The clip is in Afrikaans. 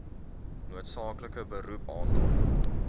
noodsaaklike beroep aantal